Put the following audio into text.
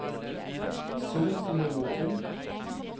zoom til nivå to